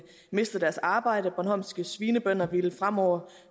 mistet deres arbejde bornholmske svinebønder ville fremover